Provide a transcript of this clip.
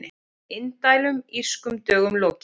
Indælum Írskum dögum lokið